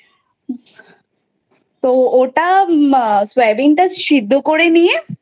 তো ওটা সোয়াবিনটা সেদ্ধ করে নিয়ে বা